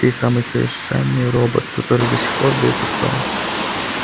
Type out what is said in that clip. ты самый совершенный робот который до сих пор был построен